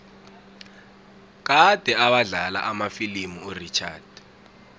kade awadlala amafilimu urichard